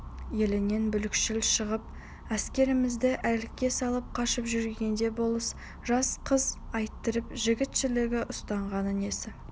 елінен бүлікшіл шығып әскерімізді әлекке салып қашып жүргенде болыс жас қыз айттырып жігітшілігі ұстағаны несі